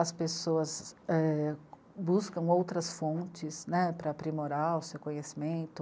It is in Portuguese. As pessoas, é... buscam outras fontes, né, para aprimorar o seu conhecimento,